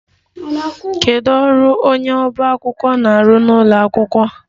Kedu ọrụ onye ọba akwụkwọ na-arụ n'ụlọ akwụkwọ?